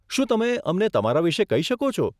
શું તમે અમને તમારા વિશે કહી શકો છો?